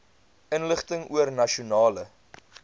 inligting oor nasionale